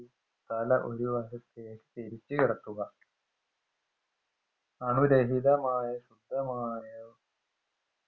തല ഒരുവശത്തെക്ക് ചെരിച്ചുകിടത്തുക അണുരഹിതമായ ശുദ്ധമായ